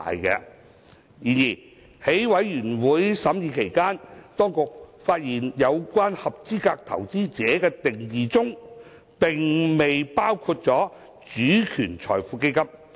然而，在法案委員會審議期間，當局發現有關"合資格投資者"的定義並未涵蓋"主權財富基金"。